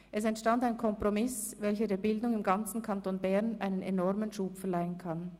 Es entstand ein Kompromiss, welcher der Bildung im ganzen Kanton Bern einen enormen Schub verleihen kann.